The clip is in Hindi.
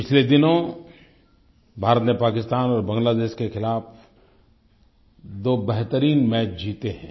पिछले दिनों भारत ने पाकिस्तान और बांग्लादेश के खिलाफ़ दो बेहतरीन मैच जीते हैं